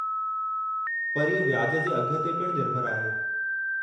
पर इहो व्याज जे अघ ते पिणु निर्भरु आहे।